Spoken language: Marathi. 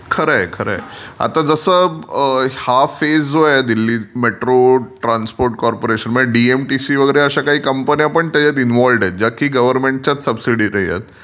खरंय, खरंय. आता जसं हा फेज जो आहे दिल्ली मेट्रो ट्रान्सपोर्ट कोंपोरेशन म्हणजे डीएमटीसी वगैरे अशा काही कंपन्या पण त्याच्यात इनवोलव्हड आहेत ज्या की गव्हर्नमेंटच्या सब्सिडायरी आहेत.